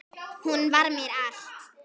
Hún var mér allt.